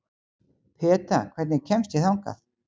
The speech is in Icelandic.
Peta, hvernig kemst ég þangað?